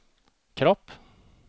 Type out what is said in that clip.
kropp